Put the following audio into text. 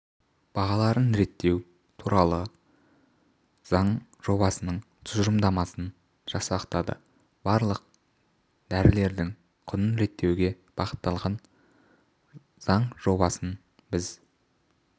бағаларын реттеу турал заң жобасының тұжырымдамасын жасақтады барлық дәрілердің құнын реттеуге бағытталған заң жобасын біз